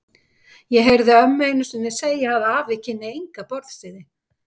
Ég heyrði ömmu einu sinni segja að afi kynni enga borðsiði.